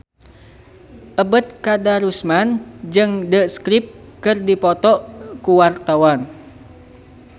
Ebet Kadarusman jeung The Script keur dipoto ku wartawan